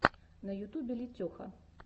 на ютубе летеха